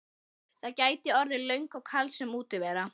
Það gæti orðið löng og kalsöm útivera.